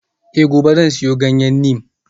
Eh gobe zan siyo ganyen neem